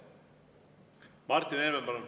Martin Helme, palun!